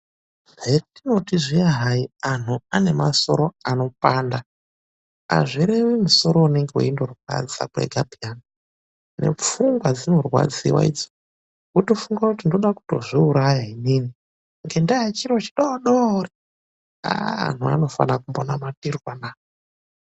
Hetinoti zviya hai anhu anemasoro anopanda, azvirevi musoro unonga weindorwadza kwega peyani. Nepfungwa dzinorwadziwa idzo, wotofunga kuti ndoda kutozviuraya inini ngendaa yechiro chidoodori. Aah anhu anofana kumbonamatirwa na!